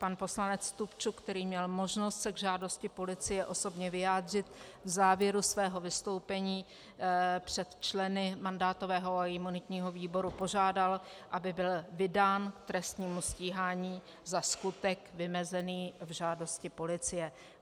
Pan poslanec Stupčuk, který měl možnost se k žádosti policie osobně vyjádřit, v závěru svého vystoupení před členy mandátového a imunitního výboru požádal, aby byl vydán k trestnímu stíhání za skutek vymezený v žádosti policie.